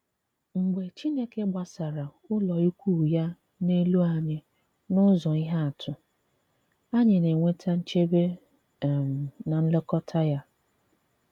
Mgbe Chineke gbàsàrà ụlọikwuu ya n’elu anyị n’ụ̀zọ̀ ihe atụ, anyị na-enweta nchebe um na nlekọta ya.